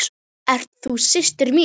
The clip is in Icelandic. Ert þú systir mín?